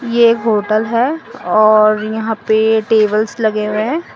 ये एक होटल है और यहां पे टेबल्स लगे हुए हैं।